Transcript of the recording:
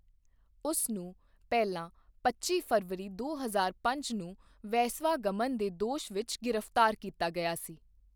ਉਸ ਨੂੰ ਪਹਿਲਾਂ ਪੱਚੀ ਫਰਵਰੀ ਦੋ ਹਜ਼ਾਰ ਪੰਜ ਨੂੰ ਵੇਸਵਾ ਗਮਨ ਦੇ ਦੋਸ਼ ਵਿੱਚ ਗ੍ਰਿਫ਼ਤਾਰ ਕੀਤਾ ਗਿਆ ਸੀ।